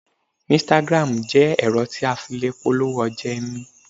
Instagram jẹ́ ẹ̀rọ tí a fi le polówó ọjà ẹni